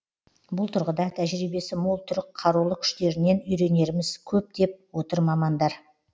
бұл тұрғыда тәжірибесі мол түрік қарулы күштерінен үйренеріміз көп деп отыр мамандар